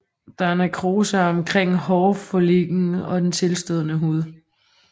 Der er nekrose omkring hårfolliklen og den tilstødende hud